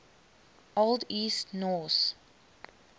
old east norse